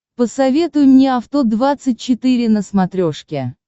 посоветуй мне авто двадцать четыре на смотрешке